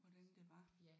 Hvordan det var